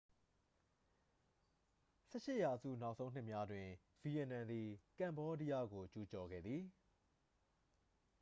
18 ရာစု နောက်ဆုံးနှစ်များတွင် ဗီယက်နမ်သည် ကမ္ဘောဒီးယားကို ကျူးကျော်ခဲ့သည်